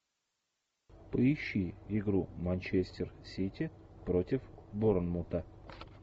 поищи игру манчестер сити против борнмута